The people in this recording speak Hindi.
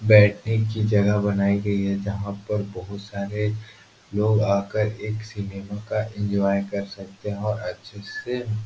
बैठने की जगह बनाई गयी है जहाँ पर बहुत सारे लोग आ कर एक सिनेमा का एन्जॉय कर सकते हैं और अच्छे से --